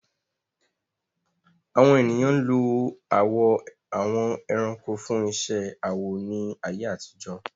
Àwọn ènìyàn ń lo awọ àwọn ẹranko fún iṣẹ́ awọ ní ayé àtijọ́.